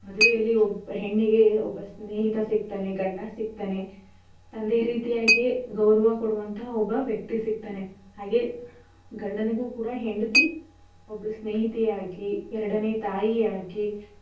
ಮದ್ವೆಯಲ್ಲಿ ಒಬ್ಬ ಹೆಣ್ಣಿಗೆ ಒಬ್ಬ ಸ್ನೇಹಿತ ಸಿಕ್ತಾನೇ ಗಂಡ ಸಿಗ್ತಾನೇ ತಂದೆ ರೀತಿಯಾಗೆ ಗೌರವ ಕೊಡೊವಂಥಹ ಒಬ್ಬ ವ್ಯಕ್ತಿ ಸಿಗ್ತಾನೇ. ಹಾಗೆ ಗಂಡನಿಗು ಕೂಡ ಹೆಂಡತಿ ಒಬ್ಳು ಸ್ನೇಹಿತೆಯಾಗಿ ಎರಡನೇ ತಾಯಿಯಾಗಿ.